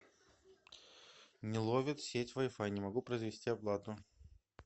не ловит сеть вай фай не могу произвести оплату